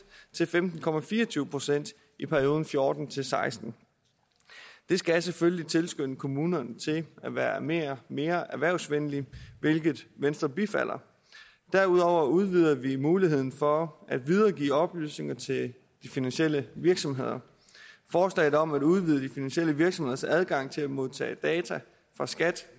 til femten procent i perioden fjorten til seksten det skal selvfølgelig tilskynde kommunerne til at være mere mere erhvervsvenlige hvilket venstre bifalder derudover udvider vi muligheden for at videregive oplysninger til de finansielle virksomheder forslaget om at udvide de finansielle virksomheders adgang til at modtage data fra skat